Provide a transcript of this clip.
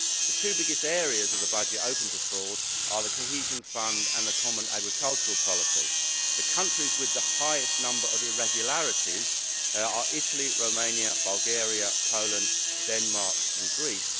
The two biggest areas of the budget open to fraud are the Cohesion Fund and the Common Agricultural Policy. The countries with the highest number of irregularities are Italy, Romania, Bulgaria, Poland, Denmark and Greece.